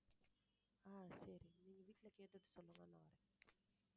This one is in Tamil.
ஆஹ் சரி நீங்க வீட்டுல கேட்டுட்டு சொல்லுங்க நான் வர்றேன்